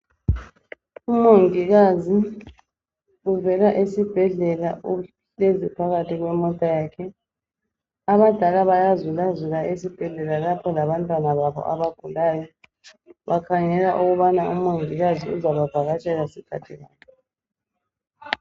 Umongikazi uvela esibhedlela uhlezi phakathi kwemota yakhe. Abadala bayazulazula esibhedlela lapho labantwana babo abagulayo bakhangela ukubana umongikazi uzabavakatshela sikhathi bani